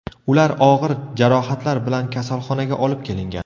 Ular og‘ir jarohatlar bilan kasalxonaga olib kelingan.